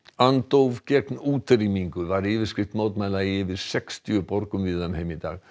andóf gegn útrýmingu var yfirskrift mótmæla í yfir sextíu borgum víða um heim í dag